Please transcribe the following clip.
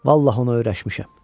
Vallah ona öyrəşmişəm.